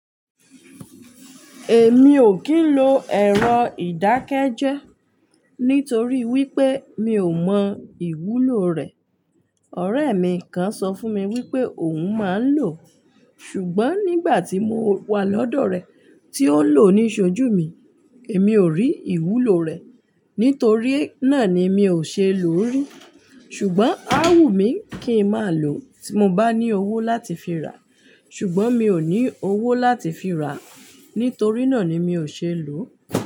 Èmi ò kí ń lo ẹ̀rọ ìdákẹ́jẹ́ nítorí wípé mi ò mọ ìwúlò rẹ̀. Ọ̀rẹ́ mi kan sọ fún mi wípé òun máa ń lò ọ́. Ṣùgbọ́n nígbà tí mo wà lọ́dọ̀ rẹ̀ tí ó lò ó níṣojú mi, èmi ò rí ìwúlò rẹ̀. Nítorí náà ni mi ò ṣe é lò rí. Ṣùgbọ́n a wù mí kí n máa lò ó tí mo bá ní owó láti fi rà. Ṣùgbọ́n mi ò ní owó láti fi ra. Nítorí náà ni mi ò ṣe é lò.